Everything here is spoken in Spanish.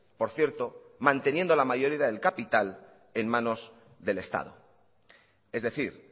por cierto manteniendo la mayoría del capital en manos del estado es decir